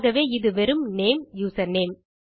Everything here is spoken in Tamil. ஆகவே இது வெறும் நேம் யூசர்நேம்